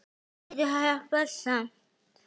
En hann getur hjálpað samt.